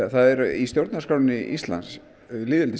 í stjórnarskrá Íslands